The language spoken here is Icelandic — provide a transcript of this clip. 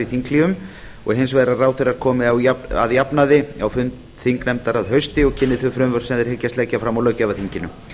þinghléum og hins vegar að ráðherrar komi að jafnaði á fund þingnefnda að hausti og kynni þau frumvörp sem þeir hyggjast leggja fram á löggjafarþinginu